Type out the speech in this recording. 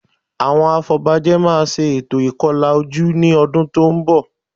Àwọn afọbajẹ máa ṣe ètò ìkọlà ojú ní ọdún tó ń bọ̀